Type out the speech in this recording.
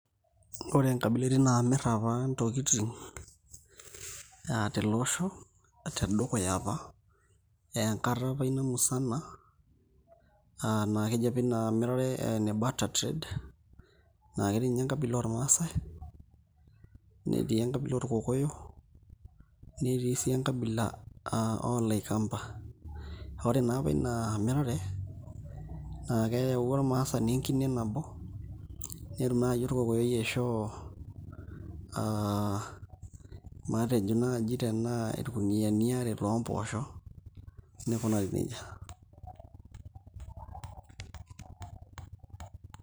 Ore nkabilaitin naamir apa ntokitin aa tele osho tedukuya apa aa enkata apa ina musana aa naa keji apa ina mirare ene batter trade na ketii ninye enkabila ormaasai netii enkabila orkokoyo netii sii enkabila oolaikamba, ore naa apa ina mirare naa keyau apa ormaasani enkine nabo netum naai orkokoyoi aishoo aa matejo naai tenaa irkuniyiani aare loo mpoosho nikunari neija.